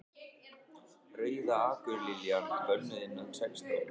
Rauða akurliljan. bönnuð innan sextán